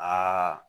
Aa